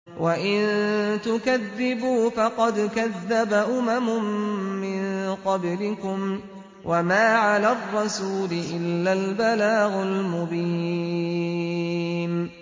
وَإِن تُكَذِّبُوا فَقَدْ كَذَّبَ أُمَمٌ مِّن قَبْلِكُمْ ۖ وَمَا عَلَى الرَّسُولِ إِلَّا الْبَلَاغُ الْمُبِينُ